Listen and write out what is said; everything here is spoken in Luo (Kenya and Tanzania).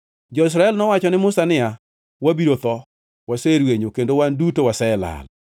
Jo-Israel nowacho ne Musa niya, “Wabiro tho! Waserwenyo, kendo wan duto waselal!